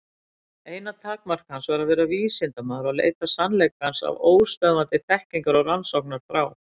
Eina takmark hans var að vera vísindamaður og leita sannleikans af óstöðvandi þekkingar- og rannsóknarþrá.